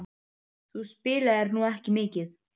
Þú spilaðir nú ekki mikið?